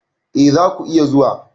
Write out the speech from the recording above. E, za ku iya zuwa.